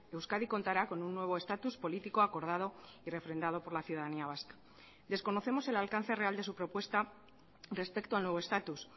euskadi contará con un nuevo estatus político acordado y refrendado por la ciudadanía vasca desconocemos el alcance real de su propuesta respecto al nuevo estatus